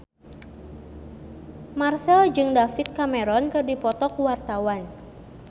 Marchell jeung David Cameron keur dipoto ku wartawan